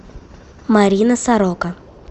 марина сорока